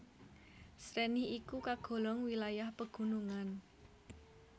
Sreni iku kagolong wilayah pegunungan